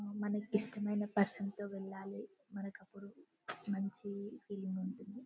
మనకు ఇష్టమైన పర్సన్ తో వెళ్ళాలి అప్పుడు మనకి మంచిగా అనిపిస్తది.